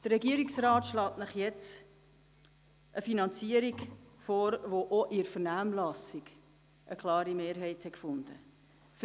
Der Regierungsrat schlägt Ihnen nun eine Finanzierung vor, die auch in der Vernehmlassung eine klare Mehrheit gefunden hat.